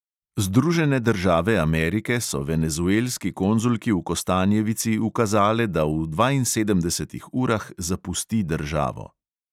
Združene države amerike so venezuelski konzulki v kostanjevici ukazale, da v dvainsedemdesetih urah zapusti državo.